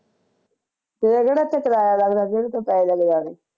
ਫਿਰ ਕਹਿਣਾ ਇਥੇ ਕਰਾਇਆ ਲਗ ਪੈਹੇ ਲਗ ਜਾਣੇ